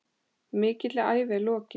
Mikilli ævi er lokið.